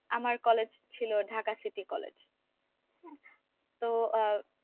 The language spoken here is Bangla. আমার কলেজ ছিল ঢাকা city college তো আহ